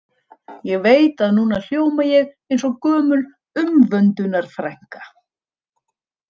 Ég veit að núna hljóma ég eins og gömul umvöndunarfrænka.